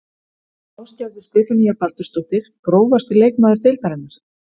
Ásgerður Stefanía Baldursdóttir Grófasti leikmaður deildarinnar?